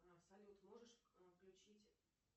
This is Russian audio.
салют можешь включить